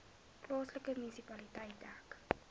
plaaslike munisipaliteit dek